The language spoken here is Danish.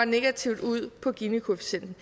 negativt ud på ginikoefficienten